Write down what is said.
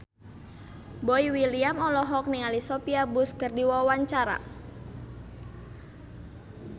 Boy William olohok ningali Sophia Bush keur diwawancara